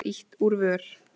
Samt var ýtt úr vör.